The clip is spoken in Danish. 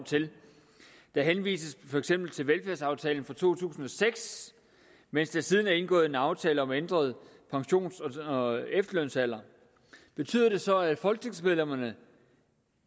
der henvises for eksempel til velfærdsaftalen fra to tusind og seks mens der siden er indgået en aftale om ændret pensions og efterlønsalder betyder det så at folketingsmedlemmerne